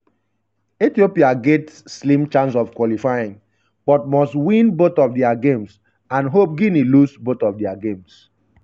ethiopia get slim chance of qualifying but must win both of dia games and hope guinea lose both of dia games.